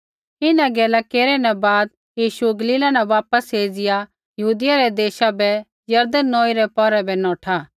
इन्हां गैला केरै न बाद यीशु गलीला न वापस एज़िया यहूदियै रै देशा बै यरदन नौई पौरै बै नौठा